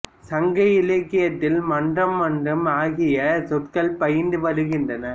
சங்க இலக்கியத்தில் மன்றம் மன்று ஆகிய சொற்கள் பயின்று வருகின்றன